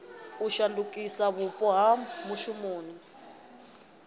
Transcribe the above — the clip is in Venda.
u shandukisa vhupo ha mushumoni